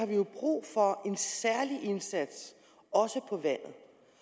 vi jo brug for en særlig indsats også på vandet